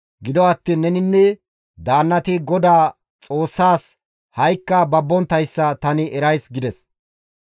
Gido attiin neninne daannati GODAA Xoossaas ha7ikka babbonttayssa tani erays» gides.